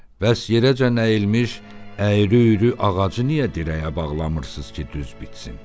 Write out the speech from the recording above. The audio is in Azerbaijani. Bəs yerəcə nəyilmiş, əyri-üyrü ağacı niyə dirəyə bağlamırsınız ki, düz bitsin?